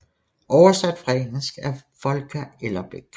Oversat fra engelsk af Volker Ellerbeck